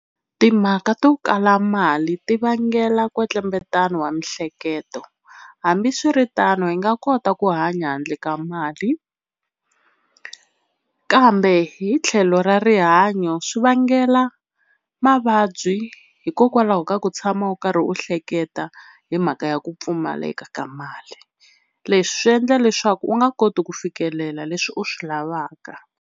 Timhaka to kala mali ti vangela kwetlembetana wa miehleketo hambiswiritano hi nga kota ku hanya handle ka mali, kambe hi tlhelo ra rihanyo swi vangela mavabyi hikokwalaho ka ku tshama u karhi u hleketa hi mhaka ya ku pfumaleka ka mali. Leswi swi endla leswaku u nga koti ku fikelela leswi u swi lavaka.